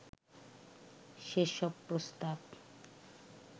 সেসব প্রস্তাব